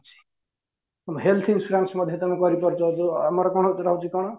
ଆମ health insurance ମଧ୍ୟ ତମେ କରି ପାରୁଛ ଯୋ ଆମର କଣ ସେଇଟା ହଉଚି କଣ